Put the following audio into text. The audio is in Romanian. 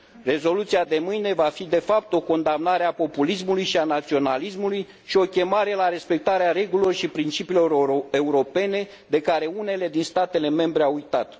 Rezoluția de mâine va fi, de fapt, o condamnare a populismului și a naționalismului și o chemare la respectarea regulilor și principiilor europene, de care unele din statele membre au uitat.